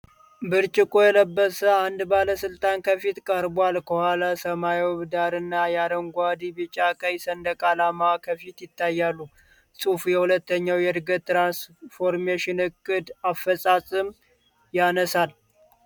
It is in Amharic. ብርጭቆ የለበሰ አንድ ባለስልጣን ከፊት ቀርቧል። ከኋላ ሰማያዊ ዳራና የአረንጓዴ፣ ቢጫና ቀይ ሰንደቅ ዓላማዎች ከፊል ይታያሉ። ጽሑፉ የሁለተኛው የእድገትና ትራንስፎርሜሽን እቅድ (GTP II) አፈፃፀም ያነሳል።